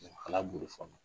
Ala